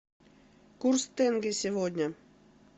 курс тенге сегодня